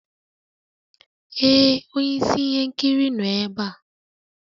Ee onye isi ihe nkiri nọ ebe a.